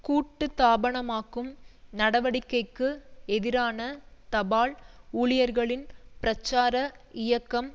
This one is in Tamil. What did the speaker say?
கூட்டுத்தாபனமாக்கும் நடவடிக்கைக்கு எதிரான தபால் ஊழியர்களின் பிரச்சார இயக்கம்